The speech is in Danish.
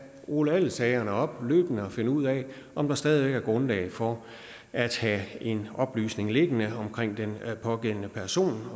rulle alle sagerne op og finde ud af om der stadig væk er grundlag for at have en oplysning liggende om den pågældende person